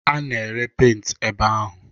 A na-ere penti ebe ahụ.